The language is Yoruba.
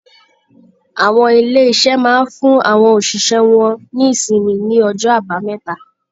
Àwọn ilé-iṣẹ́ máa ń fún àwọn òṣìṣẹ́ wọn ní ìṣịnmi ní ọjọ́ Àbámẹ́ta.